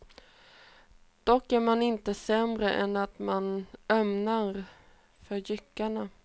Dock är man inte sämre än att man ömmar för jyckarna.